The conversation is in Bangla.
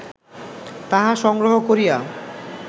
তাহা সংগ্রহ করিয়া